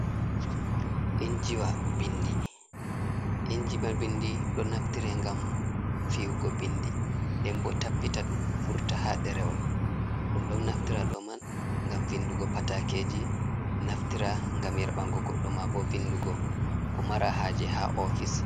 Injiwa binndi, injimawa binndi ɗo naftira ngam fi’ugo binndi, nden bo tappita ɗum vurta haa ɗerewol. Ɗum ɗon naftira ɗo man, ngam vinndugo pataakeeji, naftira ngam yerɓanngo goɗɗo, maabo vinndugo ko mara haaje haa ofis.